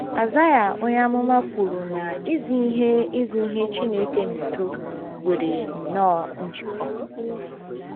Aịzaịa onye amụma kwuru na izi ihe izi ihe Chineke na udo nwere nnọọ njikọ.